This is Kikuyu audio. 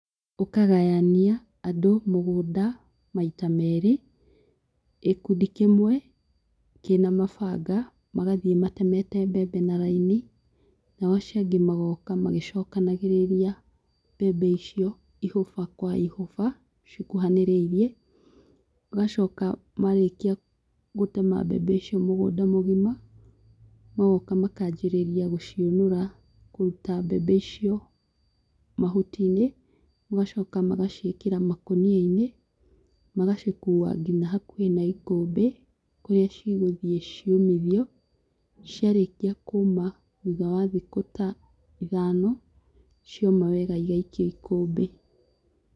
Ũkagayania andũ mũgũnda maita merĩ gĩkundi kĩmwe, kĩna mabanga, magathiĩ matemeta mbembe na raini, nao acio angĩ magooka magĩcokanagĩrĩria mbembe icio ihũba kwa ihũba, cikuhanĩrĩirie. Ũgacoka, maarĩkia gũtema mbembe icio mũthenya mũgima, magoka makaajĩrĩria gũciũnũra, kũruta mbembe icio mahuti-inĩ, magacoka magaciĩkĩra makũnia-inĩ, magacikua nginya hakuhĩ na ikũmbĩ kũrĩa cigũthi ciũmithio, ciarĩkĩa kũũma, thutha wa thikũ ta ithano, cioma wega, igaikio ikũmbĩ